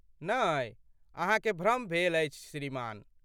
नै, अहाँकेँ भ्रम भेल अछि श्रीमान।